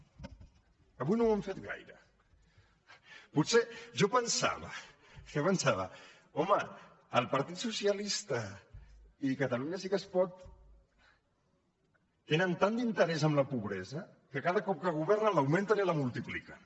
avui no ho han fet gaire potser jo pensava jo pensava home el partit socialista i catalunya sí que es pot tenen tant d’interès en la pobresa que cada cop que governen l’augmenten i la multipliquen